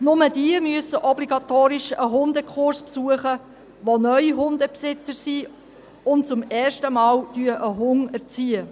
Nur jene müssen obligatorisch einen Hundekurs besuchen, die neu Hundebesitzer sind und zum ersten Mal einen Hund erziehen.